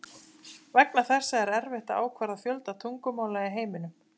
Vegna þessa er erfitt að ákvarða fjölda tungumála í heiminum.